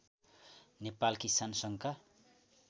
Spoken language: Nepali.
नेपाल किसान सङ्घका